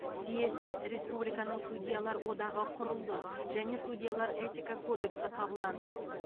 съезде республиканың судьялар одағы құрылды және судьялар этика кодексі қабылданды